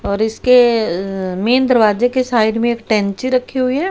और इसके मेन दरवाजे के साइड में एक टेंची रखी हुई है।